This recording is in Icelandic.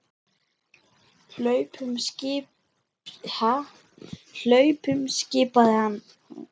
Hlaupum skipaði hann.